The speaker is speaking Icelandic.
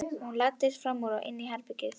Hún læddist fram úr og inn í hitt herbergið.